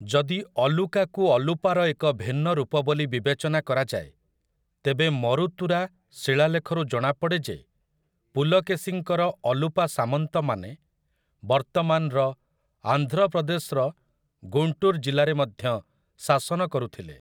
ଯଦି 'ଅଲୁକା' କୁ 'ଅଲୁପା' ର ଏକ ଭିନ୍ନ ରୂପ ବୋଲି ବିବେଚନା କରାଯାଏ, ତେବେ ମରୁତୁରା ଶିଳାଲେଖରୁ ଜଣାପଡ଼େ ଯେ ପୁଲକେଶିଙ୍କର ଅଲୁପା ସାମନ୍ତମାନେ ବର୍ତ୍ତମାନର ଆନ୍ଧ୍ର ପ୍ରଦେଶର ଗୁଣ୍ଟୁର୍ ଜିଲ୍ଲାରେ ମଧ୍ୟ ଶାସନ କରୁଥିଲେ ।